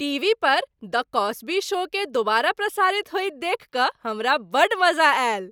TV पर "the Cosby शो"केँ दोबारा प्रसारित होइत देखि कऽ हमरा बड्ड मजा आएल।